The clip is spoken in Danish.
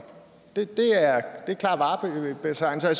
det er klar varebetegnelse og